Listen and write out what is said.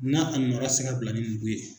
N'a a nɔra ti se ka bila ni nugu ye.